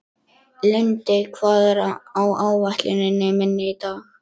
Lindi, hvað er á áætluninni minni í dag?